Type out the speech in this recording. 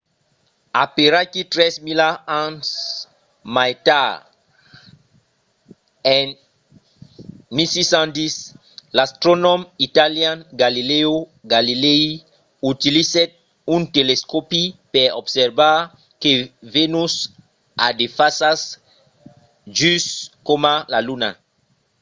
aperaquí tres mila ans mai tard en 1610 l’astronòm italian galileo galilei utilizèt un telescòpi per observar que venus a de fasas just coma la luna